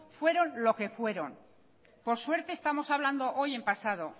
fueron lo que fueron por suerte estamos hablando hoy en pasado